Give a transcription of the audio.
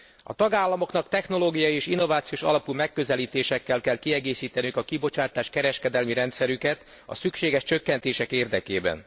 A tagállamoknak technológiai és innovációs alapú megközelítésekkel kell kiegészíteniük a kibocsátáskereskedelmi rendszerüket a szükséges csökkentések érdekében.